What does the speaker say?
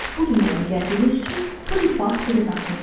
Bu dünyaya gəldiyiniz üçün bu rifah sizin haqqınızdadır.